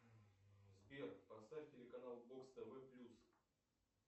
сбер поставь телеканал бокс тв плюс